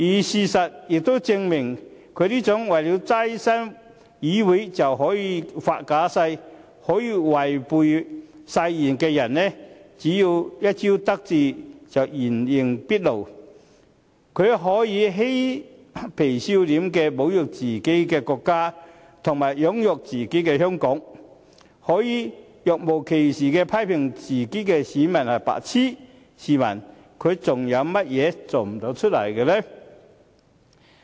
事實亦證明，他這種為了躋身議會便可以發假誓、可以違背誓言的人，只要一朝得志就會原形畢露，他可以嬉皮笑臉地侮辱自己的國家和養育自己的香港、可以若無其事地批評自己的選民是"白癡"，試問他還有甚麼事做不出來？